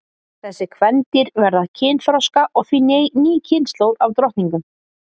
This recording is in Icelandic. Þessi kvendýr verða kynþroska og því ný kynslóð af drottningum.